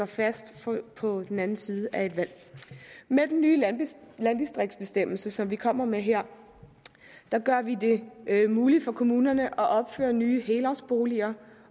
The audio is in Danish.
fast på den anden side af et valg med den nye landdistriktsbestemmelse som vi kommer med her gør vi det muligt for kommunerne at opføre nye helårsboliger